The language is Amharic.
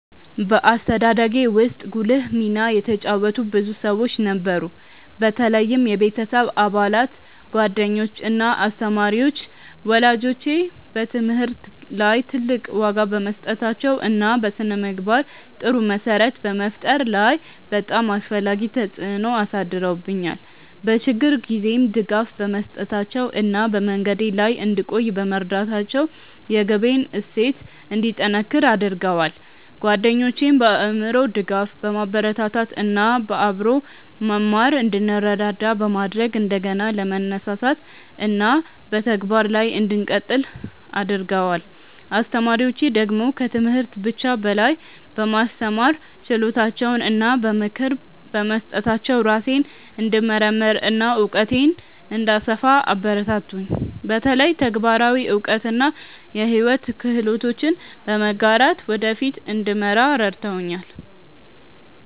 በአስተዳደጌ ውስጥ ጉልህ ሚና የተጫወቱ ብዙ ሰዎች ነበሩ፣ በተለይም የቤተሰብ አባላት፣ ጓደኞች እና አስተማሪዎች። ወላጆቼ በትምህርት ላይ ትልቅ ዋጋ በመስጠታቸው እና በስነ-ምግባር ጥሩ መሰረት በመፍጠር ላይ በጣም አስፈላጊ ተጽዕኖ አሳድረውብኛል፤ በችግር ጊዜም ድጋፍ በመስጠታቸው እና በመንገዴ ላይ እንድቆይ በመርዳታቸው የግቤን እሴት እንዲጠነክር አድርገዋል። ጓደኞቼም በአእምሮ ድጋፍ፣ በማበረታታት እና በአብሮ መማር እንድንረዳዳ በማድረግ እንደገና ለመነሳሳት እና በተግባር ላይ እንድቀጥል አግርገደዋል። አስተማሪዎቼ ደግሞ ከትምህርት ብቻ በላይ በማስተማር ችሎታቸው እና በምክር በመስጠታቸው ራሴን እንድመርምር እና እውቀቴን እንድሰፋ አበረታቱኝ፤ በተለይ ተግባራዊ እውቀት እና የሕይወት ክህሎቶችን በመጋራት ወደ ፊት እንድመራ ረድተውኛል።